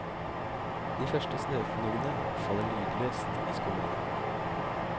De første snøfnuggene faller lydløst i skumringen.